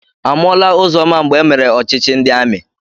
Amụọla Ụzọma mgbe emere ọchịchị ndị amị.